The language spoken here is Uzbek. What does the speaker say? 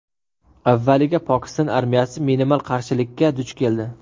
Avvaliga Pokiston armiyasi minimal qarshilikka duch keldi.